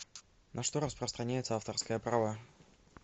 на что распространяется авторское право